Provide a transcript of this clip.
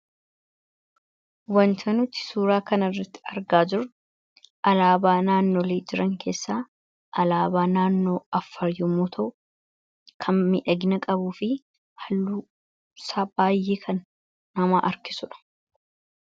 wanta nuti suuraa kan irratti argaa jirru alaabaa naannoolii jiran keessaa alaabaa naannoo Affaar yoommuu ta'u kan midhaginaa qabuu fi halluunsaa baay'ee kan nama harkisuudha.